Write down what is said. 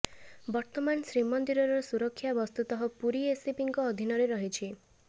ବର୍ତ୍ତମାନ ଶ୍ରୀମନ୍ଦିରର ସୁରକ୍ଷା ବସ୍ତୁତଃ ପୁରୀ ଏସପିଙ୍କ ଅଧୀନରେ ରହିଛି